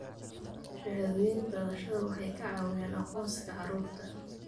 Shahaadooyinka dhalashada waxay ka caawiyaan aqoonsiga carruurta.